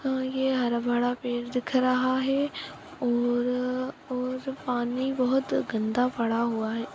अ ये हरा-भरा पेड़ दिख रहा है और और पानी बहोत गंदा पड़ा हुआ है।